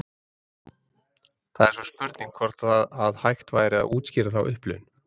Það er svo spurning hvort að hægt væri að útskýra þá upplifun.